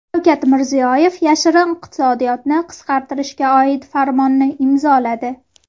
Shavkat Mirziyoyev yashirin iqtisodiyotni qisqartirishga oid farmonni imzoladi.